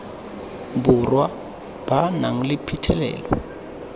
borwa ba nang le phitlhelelo